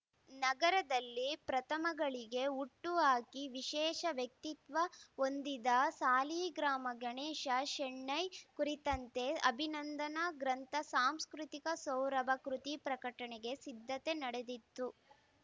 ನಗರದಲ್ಲಿ ಪ್ರಥಮಗಳಿಗೆ ಹುಟ್ಟುಹಾಕಿ ವಿಶೇಷ ವ್ಯಕ್ತಿತ್ವ ಹೊಂದಿದ ಸಾಲಿಗ್ರಾಮ ಗಣೇಶ ಶೆಣೈ ಕುರಿತಂತೆ ಅಭಿನಂಧನಾ ಗ್ರಂಥ ಸಾಂಸ್ಕೃತಿಕ ಸೌರಭ ಕೃತಿ ಪ್ರಕಟಣೆಗೆ ಸಿದ್ದತೆ ನಡೆದಿತ್ತು